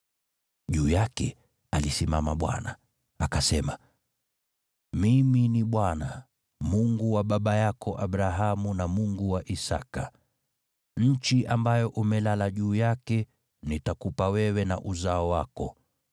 Juu yake alisimama Bwana , akasema, “Mimi ni Bwana , Mungu wa baba yako Abrahamu na Mungu wa Isaki. Nchi ambayo umelala juu yake, nitakupa wewe na uzao wako.